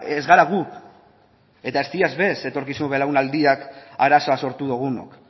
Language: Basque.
ez gara gu eta ez dira ere etorkizun belaunaldiak arazoa sortu dugunok